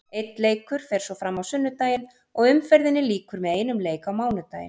Einn leikur fer svo fram á sunnudaginn og umferðinni lýkur með einum leik á mánudaginn.